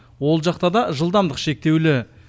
ол жақта да жылдамдық шектеулі